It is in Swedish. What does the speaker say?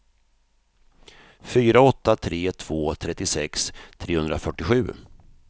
fyra åtta tre två trettiosex trehundrafyrtiosju